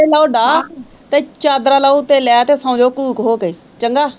ਲਓ ਡਾਹ ਤੇ ਚਾਦਰਾ ਲਓ ਉੱਤੇ ਲੈ ਤੇ ਸੌਂ ਜਾਓ ਘੂਕ ਹੋ ਕੇ ਚੰਗਾ।